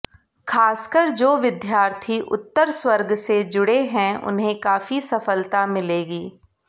खासकर जो विद्यार्थी उत्तर स्वर्ग से जुड़े हैं उन्हें काफी सफलता मिलेगी